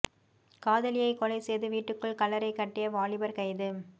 காதலியை கொலை செய்து வீட்டுக்குள் கல்லறை கட்டிய வாலிபர் கைது